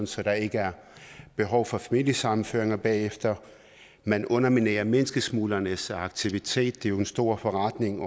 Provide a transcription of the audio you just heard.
så der ikke er behov for familiesammenføringer bagefter man underminerer menneskesmuglernes aktivitet det er jo en stor forretning